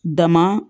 Dama